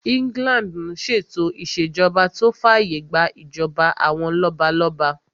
England n ṣe ètò ìṣèjọba tó fàyè gbà ìjọba àwọn lọ́balọ́ba